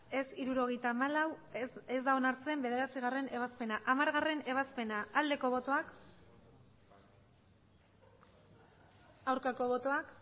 ez hirurogeita hamalau ez da onartzen bederatzigarrena ebazpena hamargarrena ebazpena aldeko botoak aurkako botoak